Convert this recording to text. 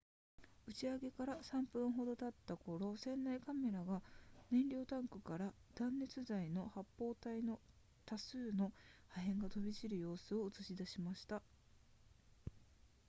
打ち上げから3分ほど経った頃船内カメラが燃料タンクから断熱材の発泡体の多数の破片が飛び散る様子を映し出しました